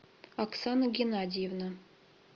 оксана геннадьевна